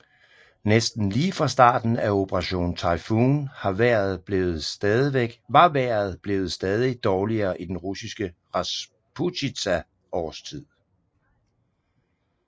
Næsten lige fra starten af Operation Typhoon var vejret blevet stadig dårligere i den russiske rasputitsa årstid